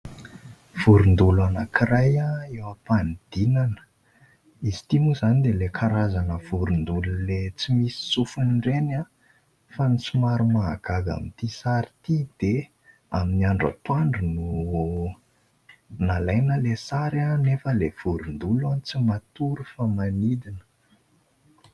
Vorondolo anankiray eo am-panidinana. Izy ity moa izany dia ilay karazana vorondolo ilay tsy misy sofiny ireny fa ny somary mahagaga amin'ity sary ity dia amin'ny andro antoandro no nalaina ilay sary nefa ny vorondolo tsy matory fa manidina.